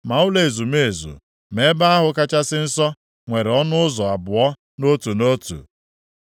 Ma ụlọ ezumezu, ma Ebe ahụ Kachasị Nsọ, nwere ọnụ ụzọ abụọ, nʼotu nʼotu.